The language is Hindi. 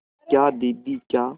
क्या दीदी क्या